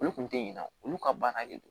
Olu kun te ɲinɛ olu ka baara de don